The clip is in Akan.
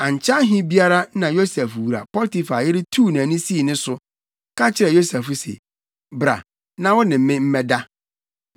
Ankyɛ ahe biara na Yosef wura Potifar yere tuu nʼani sii ne so, ka kyerɛɛ Yosef se, “Bra, na wo ne me mmɛda!”